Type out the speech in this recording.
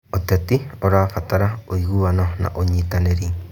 ũteti ũrabatara ũiguano na ũnyitanĩri.